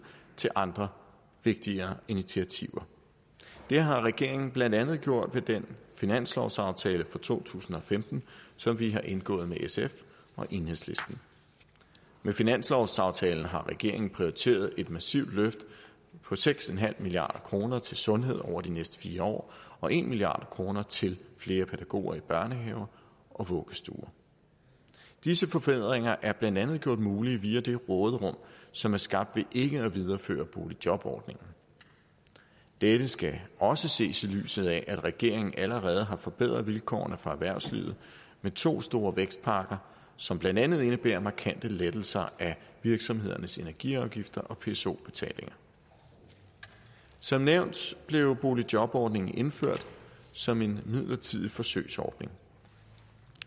til andre vigtigere initiativer det har regeringen blandt andet gjort med den finanslovsaftale for to tusind og femten som vi har indgået med sf og enhedslisten med finanslovsaftalen har regeringen prioriteret et massivt løft på seks milliard kroner til sundhed over de næste fire år og en milliard kroner til flere pædagoger i børnehaver og vuggestuer disse forbedringer er blandt andet gjort mulige via det råderum som er skabt ved ikke at videreføre boligjobordningen dette skal også ses i lyset af at regeringen allerede har forbedret vilkårene for erhvervslivet med to store vækstpakker som blandt andet indebærer markante lettelser af virksomhedernes energiafgifter og pso betaling som nævnt blev boligjobordningen indført som en midlertidig forsøgsordning